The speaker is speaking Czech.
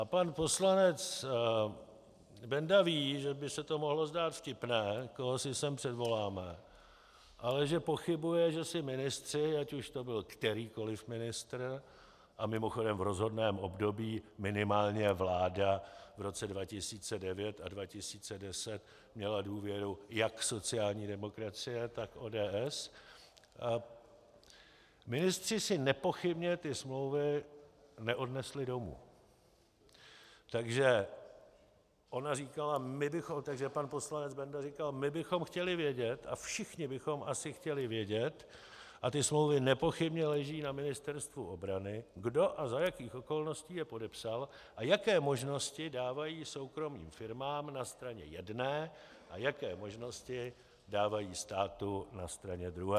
A pan poslanec Benda ví, že by se to mohlo zdát vtipné, koho si sem předvoláme, ale že pochybuje, že si ministři, ať už to byl kterýkoli ministr, a mimochodem v rozhodném období minimálně vláda v roce 2009 a 2010 měla důvěru jak sociální demokracie, tak ODS, ministři si nepochybně ty smlouvy neodnesli domů, takže pan poslanec Benda říkal: My bychom chtěli vědět, a všichni bychom asi chtěli vědět, a ty smlouvy nepochybně leží na Ministerstvu obranu, kdo a za jakých okolností je podepsal a jaké možnosti dávají soukromým firmám na straně jedné a jaké možnosti dávají státu na straně druhé.